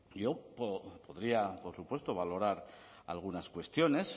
yo podría por supuesto valorar algunas cuestiones